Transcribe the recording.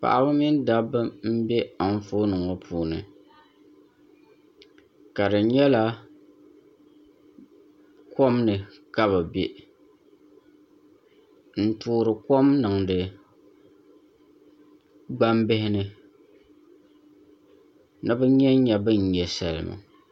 Paɣaba mini dabba n bɛ anfooni ŋo puuni ka di nyɛla kom ni ka bi bɛ n toori kom niŋdi gbambihi ni ni bi nyɛnnyɛ bin nyɛ salima